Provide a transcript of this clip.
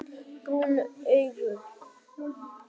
Brún augu